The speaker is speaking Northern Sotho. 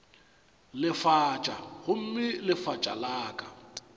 lefatša gomme lefatša la ka